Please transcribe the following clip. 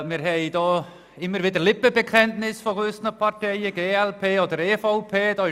Diesbezüglich gibt es immer wieder Lippenbekenntnisse von gewissen Fraktionen wie der glp oder der EVP.